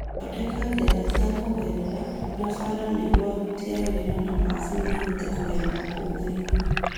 Thondeka njĩra cia kũgerera na bara nĩguo aruti a wĩra na mashini ihote kũgera kuo thĩinĩ